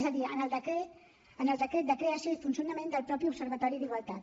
és a dir en el decret de creació i funcionament del mateix observatori d’igualtat